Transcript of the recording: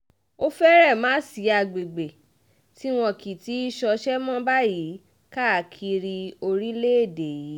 ó fẹ́rẹ̀ má sí àgbègbè tí wọn kì í ti í ṣọṣẹ́ mọ́ báyìí káàkiri orílẹ̀‐èdè yìí